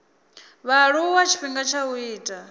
vhaaluwa tshifhinga tsha u ita